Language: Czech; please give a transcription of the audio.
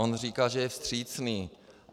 On říká, že je vstřícný.